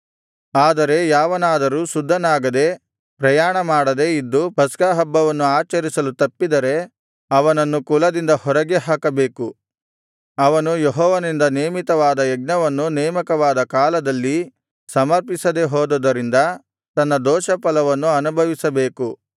ಆದರೆ ಯಾವನಾದರೂ ಶುದ್ಧನಾಗದೆ ಪ್ರಯಾಣಮಾಡದೆ ಇದ್ದು ಪಸ್ಕಹಬ್ಬವನ್ನು ಆಚರಿಸಲು ತಪ್ಪಿದರೆ ಅವನನ್ನು ಕುಲದಿಂದ ಹೊರಗೆ ಹಾಕಬೇಕು ಅವನು ಯೆಹೋವನಿಂದ ನೇಮಿತವಾದ ಯಜ್ಞವನ್ನು ನೇಮಕವಾದ ಕಾಲದಲ್ಲಿ ಸಮರ್ಪಿಸದೆ ಹೋದುದರಿಂದ ತನ್ನ ದೋಷಫಲವನ್ನು ಅನುಭವಿಸಬೇಕು